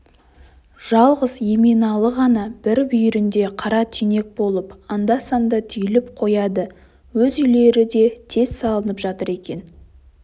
жалғыз еменалы ғана бір бүйірінде қара түйнек болып анда-санда түйіліп қояды өз үйлері де тез салынып жатыр екен